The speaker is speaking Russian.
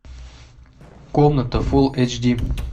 комната фулл эйч ди